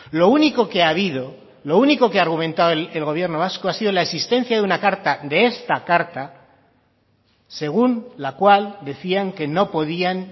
lo único que ha habido lo único que ha argumentado el gobierno vasco ha sido la existencia de una carta de esta carta según la cual decían que no podían